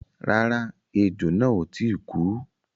Rárá, ẹjò náà ò tíì kú.